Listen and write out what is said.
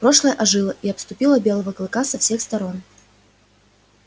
прошлое ожило и обступило белого клыка со всех сторон